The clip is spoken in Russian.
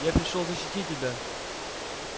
я пришёл защитить тебя